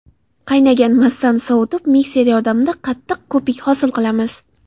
Qaynagan massani sovutib, mikser yordamida qattiq ko‘pik hosil qilamiz.